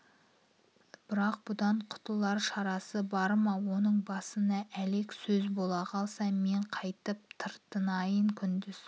бірақ бұдан құтылар шарасы бар ма оның басына әлек сөз бола қалса мен қайтіп тартынайын күндіз